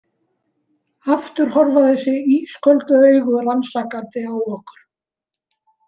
Aftur horfa þessi ísköldu augu rannsakandi á okkur.